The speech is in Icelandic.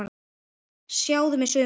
Sjáðu mig sumar!